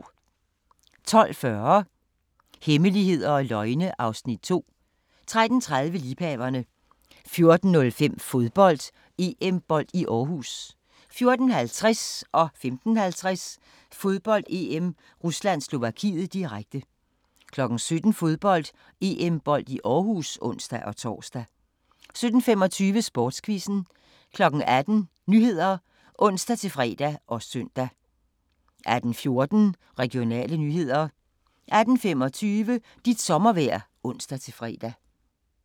12:40: Hemmeligheder og løgne (Afs. 2) 13:30: Liebhaverne 14:05: Fodbold: EM-bold i Aarhus 14:50: Fodbold: EM - Rusland-Slovakiet, direkte 15:50: Fodbold: EM - Rusland-Slovakiet, direkte 17:00: Fodbold: EM-bold i Aarhus (ons-tor) 17:25: Sportsquizzen 18:00: Nyhederne (ons-fre og søn) 18:14: Regionale nyheder 18:25: Dit sommervejr (ons-fre)